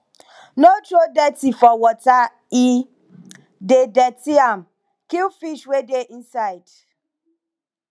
no throw dirty for water e dey dirty am kill fish wey dey inside